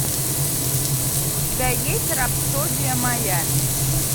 у тебя есть рапсодия майами